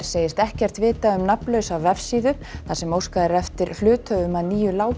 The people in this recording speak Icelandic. segist ekkert vita um nafnlausa vefsíðu þar sem óskað er eftir hluthöfum að nýju